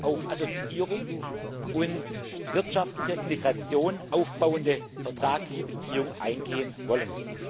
auf Assoziierung und wirtschaftlicher Integration aufbauende vertragliche Beziehung eingehen wollen.